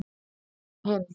Eða hinn